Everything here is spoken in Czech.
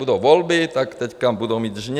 Budou volby, tak teď budou mít žně.